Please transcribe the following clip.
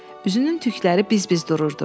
Üzünün tükləri biz-biz dururdu.